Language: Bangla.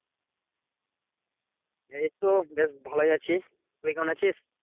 এইতো বেশ ভালোই আছি। তুই কেমন আছিস?